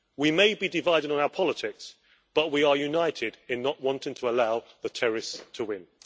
We may be divided on our politics but we are united in not wanting to allow the terrorists to win.